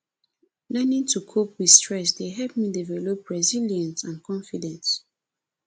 learning to cope with stress dey help me develop resilience and confidence